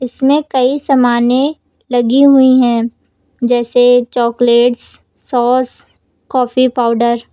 इसमें कई सामानें लगी हुई हैं जैसे चॉकलेट्स सॉस कॉफी पाउडर ।